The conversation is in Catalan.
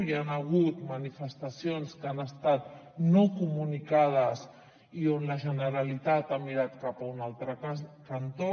hi han hagut manifestacions que han estat no comunicades i on la generalitat ha mirat cap a un altre cantó